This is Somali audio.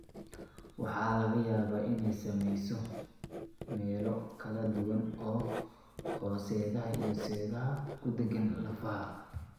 Waxa laga yaabaa inay saamayso meelo kala duwan oo seedaha iyo seedaha ku dhegaan lafaha.